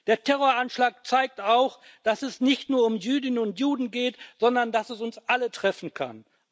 Der Terroranschlag zeigt auch, dass es nicht nur um Jüdinnen und Juden geht, sondern, dass es uns alle treffen kann.